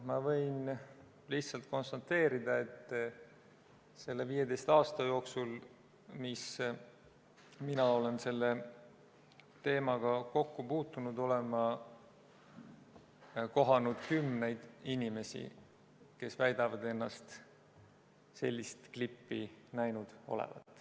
Ma võin lihtsalt konstateerida, et selle 15 aasta jooksul, mis mina olen selle teemaga kokku puutunud, olen ma kohanud kümneid inimesi, kes väidavad ennast sellist klippi näinud olevat.